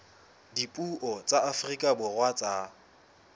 dipuo tsa afrika borwa tsa